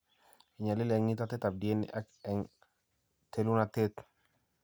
Inyaliil eng' nyitatetap DNA ak eng' telunateet.